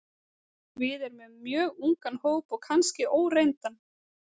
Við erum með mjög ungan hóp og kannski óreyndan.